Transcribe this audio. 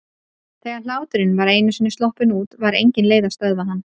Þegar hláturinn var einu sinni sloppinn út var engin leið að stöðva hann.